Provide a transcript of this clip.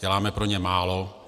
Děláme pro ně málo.